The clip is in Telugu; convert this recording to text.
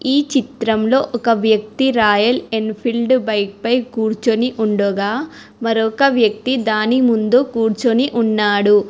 ఈ చిత్రం లో ఒక వ్యక్తి రాయలంఫిల్డ్ బైక్ పై కూర్చొని ఉండగా మరొక వ్యక్తి దాని పైన కూర్చొని ఉన్నాడు.